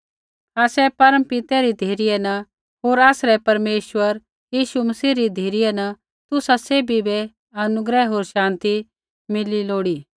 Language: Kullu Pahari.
आसरै परमपितै री धिरै न होर आसरै परमेश्वर यीशु मसीह री धिरै न तुसा सैभी बै अनुग्रह होर शान्ति मिली लोड़ी